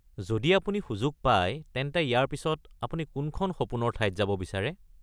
যদি আপুনি সুযোগ পায় তেন্তে ইয়াৰ পিছত আপুনি কোনখন সপোনৰ ঠাইত যাব বিচাৰে?